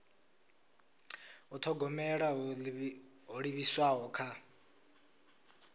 u thogomela ho livhiswaho kha